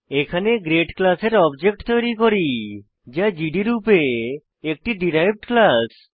এখানে গ্রেড ক্লাসের অবজেক্ট তৈরী করি যা জিডি রূপে একটি ডিরাইভড ক্লাস